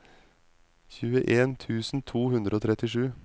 tjueen tusen to hundre og trettisju